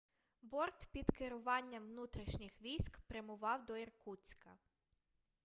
борт під керуванням внутрішніх військ прямував до іркутська